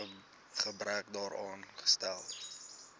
gebrek daaraan stel